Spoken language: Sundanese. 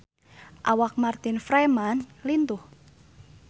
Awak Martin Freeman lintuh